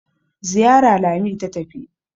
Zariya Lami ta tafi.